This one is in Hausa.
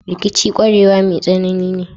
Rikici kwarewa mai tsanani ne.